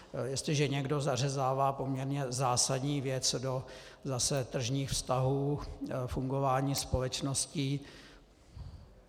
Jestliže někdo zařezává poměrně zásadní věc do zase tržních vztahů fungování společností...